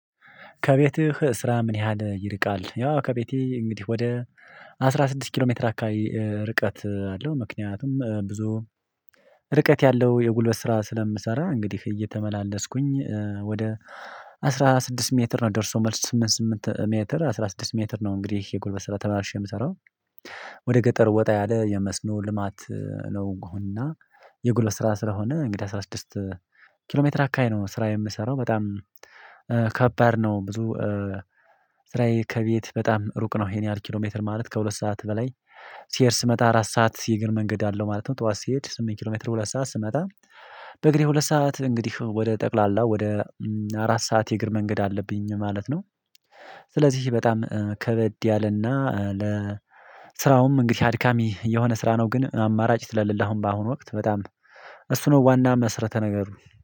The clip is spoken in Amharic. ከቤትህ ስራ ምን ያህል ይርቃል? ያው ከቤቴ እንግዲህ ወደ አስራ ስድስት ኪሎ ሜትር አካባቢ ርቀት አለው ምክንያቱም ብዙ ርቀት ያለው የጉልበት ስራ ስለምሰራ እንግዲህ እየተመላለስኩኝ ወደ አስራ ስድስት ሜትር ነው ደርሶ መልስ ስምንት ስምንት መትር አስራ ስድስት መትር ነው። እንግዲህ የጎልበስ ስራ ተመራርሼ የምሰራው ወደ ገጠር ወጣ ያለ የመስኖ ልማት ነው። እና የጉልበት ስራ ስለሆነ እንግዲህ ስራ ስድስት ኪሎ ሜትር አካሄ ነው ስራ የምሰራው በጣም ከባድ ነው። ብዙ ስራዬ ከቤት በጣም ሩቅ ነው ይሄን ያህል ኪሎሜትር ማለት ከሁለት ሰዓት በላይ ስሄድ ስመጣ አራት ሰዓት እግር መንገድ አለው ማለት ነው። ጠዋት ስሄድ ስምንት ሁለት ሰዓት እንግዲህ ወደ ጠቅላላ ወደ አራት ሰዓት የእግር መንገድ አለብኝ ማለት ነው። ስለዚህ በጣም ከበድ ያለና ለ ስራውም እንግዲህ አድካሚ የሆነ ስራ ነው። ግን አማራጭ ስለሌለህ አሁን በአሁኑ ወቅት በጣም እሱ ነው ዋና መስረተ ነገር።